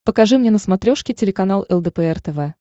покажи мне на смотрешке телеканал лдпр тв